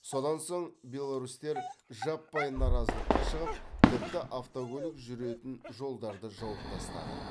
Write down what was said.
содан соң беларусьтер жаппай наразылыққа шығып тіпті автокөлік жүретін жолдарды жауып тастады